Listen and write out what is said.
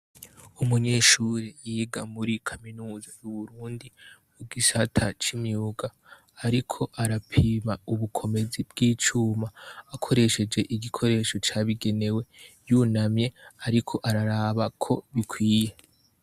Umunyeshuri yiga muri kaminuza y'uburundi mu gisata cy'imyuga, ariko arapima ubukomezi bw'icuma akoresheje igikoresho cyabigenewe yunamye ariko araraba ko bikwiye.